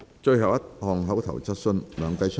最後一項口頭質詢。